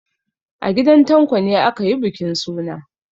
A gidan Tanko ne aka yi bukin suna.